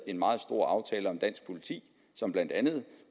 en meget stor aftale om dansk politi som blandt andet